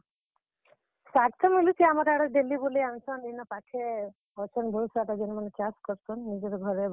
ଶାଗ୍ ତ ମିଲୁଛେ, ଆମର୍ ଆଡେ daily ବୁଲେଇ ଆନ୍ ସନ୍ ଇନ ପାଖେ, ଅଛନ୍ ବହୁତ୍ ସାରା ଯେନ୍ ମାନେ ଚାଷ୍ କର୍ ସନ୍ ନିଜର୍ ଘରେ ବଗିଚାରେ, ତ ସେମାନେ ଏନ୍ ଦେସନ୍।